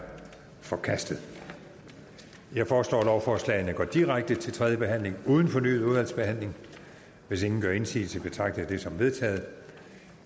forkastet jeg foreslår at lovforslagene går direkte til tredje behandling uden fornyet udvalgsbehandling hvis ingen gør indsigelse betragter jeg dette som vedtaget